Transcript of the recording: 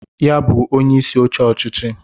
Ya bụ inye isi oche ọchịchị